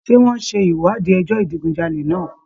Ṣé wọ́n ń ṣe ìwádìí ẹjọ́ ìdigunjalè náà?